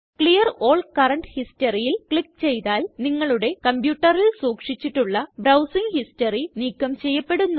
clear all current historyല് click ചെയ്താല് നിങ്ങളുടെ കംപ്യൂട്ടറിൽ സൂക്ഷിച്ചിട്ടുള്ള ബ്രൌസിംഗ് ഹിസ്റ്ററി നീക്കം ചെയ്യപ്പെടുന്നു